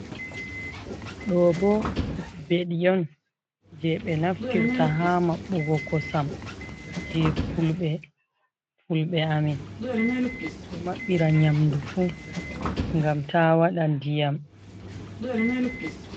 Ɗo bo mbeɗi on je be naftirta ha maɓbugo kosam je fulbe amin ɓe ɗo maɓɓira nyamdu fu ngam ta waɗa ndiyam.